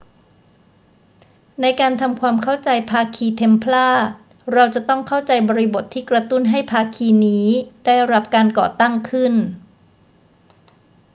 ในการทำความเข้าใจภาคีเทมพลาร์ เราจะต้องเข้าใจบริบทที่กระตุ้นให้ภาคีนี้ได้รับการก่อตั้งขึ้น